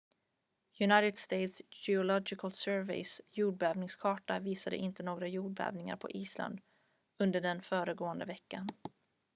united states geological surveys jordbävningskarta visade inte några jordbävningar på island under den föregående veckan